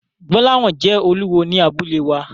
Gbolahan jẹ́ olúwo ní abúlé wa.